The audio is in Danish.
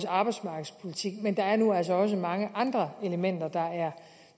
arbejdsmarkedspolitik men der er nu altså også mange andre elementer